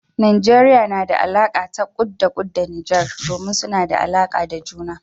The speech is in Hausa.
Najeriya na da alaka ta kut-da-kut da Nijar, domin suna da alaka da juna.